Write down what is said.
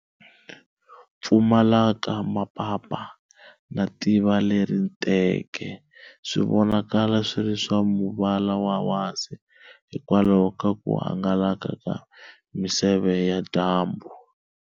Pfumalaka ma papa, na tiva leri entenke swi vonakala swiri swa muvala wa wasi hikwalaho ka ku hangalaka ka miseve ya dyambu.